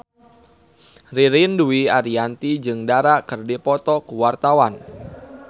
Ririn Dwi Ariyanti jeung Dara keur dipoto ku wartawan